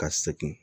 Ka segin